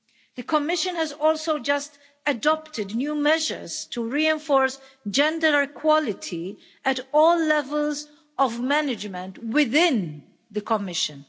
The Commission has also just adopted new measures to reinforce gender equality at all levels of management within the Commission.